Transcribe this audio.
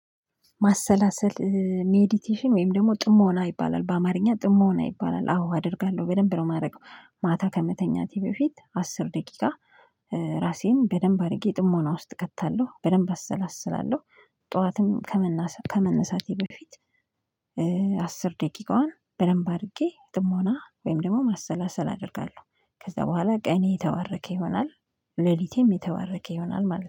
ማሰላሰል ሜዲቴሽን ወይም ደግሞ ጥሞና ይባላል በአማርኛ ጥሞና ይባላል አዎ አደርጋለሁ በደንብ ነው የማደርገው ማታ ከመተኛቴ በፊት አስር ደቂቃ። ራሴን በደንብ አድርጌ ጥሞና ውስጥ እከታለሁ በደንብ አሰላስላለሁ። ጠዋትም ከመነሳቴ በፊት። አስር ደቂቃዋን በደንብ አድርጌ ጥሞና ወይም ደግሞ ማሰላሰል አደርጋለሁ ከዛ በኋላ ቀኔ የተባረከ ይሆናል። ሌሊቴም የተባረከ ይሆናል ማለት ነው